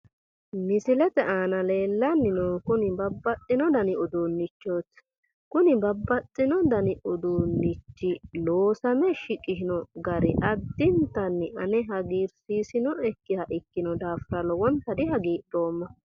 misilete aana leellanni noohu kuni babbaxxino dani uduunnichooti kuni babbaxino uduunni loosame shiqishino gari addintanni ane hagiirsiisinoeha ikkinoha ikkinohura lowonta hagiidhoomma.